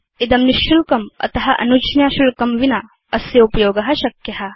इदं निशुल्कम् अत अनुज्ञाशुल्कं विना अस्योपयोग शक्य